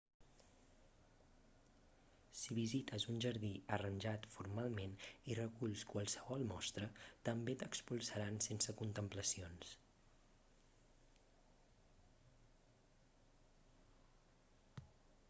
si visites un jardí arranjat formalment i reculls qualsevol mostra també t'expulsaran sense contemplacions